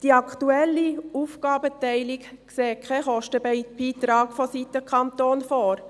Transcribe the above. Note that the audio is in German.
Die aktuelle Aufgabenteilung sieht keinen Beitrag seitens des Kantons vor.